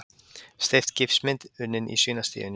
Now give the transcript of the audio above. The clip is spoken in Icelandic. Steypt gifsmynd unnin í svínastíunni